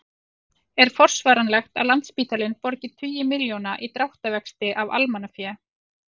En er forsvaranlegt að Landspítalinn borgi tugi milljóna í dráttarvexti af almannafé?